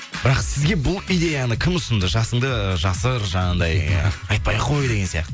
бірақ сізге бұл идеяны кім ұсынды жасыңды жасыр жаңағындай ы айтпай ақ қой деген сияқты